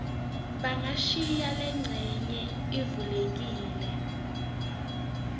bangashiya lencenye ivulekile